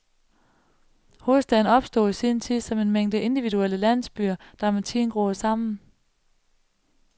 Hovedstaden opstod i sin tid som en mængde individuelle landsbyer, der med tiden groede sammen.